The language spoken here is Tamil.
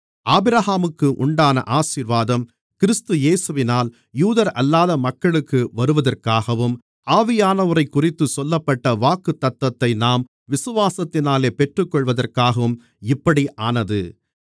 ஆபிரகாமுக்கு உண்டான ஆசீர்வாதம் கிறிஸ்து இயேசுவினால் யூதரல்லாத மக்களுக்கு வருவதற்காகவும் ஆவியானவரைக்குறித்துச் சொல்லப்பட்ட வாக்குத்தத்தத்தை நாம் விசுவாசத்தினாலே பெற்றுக்கொள்வதற்காகவும் இப்படி ஆனது